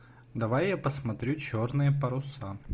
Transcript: давай я посмотрю черные паруса